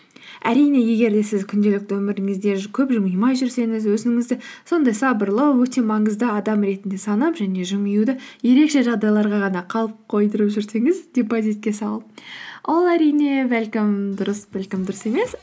әрине егер де сіз күнделікті өміріңізде көп жымимай жүрсеңіз өзіңізді сондай сабырлы өте маңызды адам ретінде санап және жымиюды ерекше жағдайларға ғана қалып қойдырып жүрсеңіз депозитке салып ол әрине бәлкім дұрыс бәлкім дұрыс емес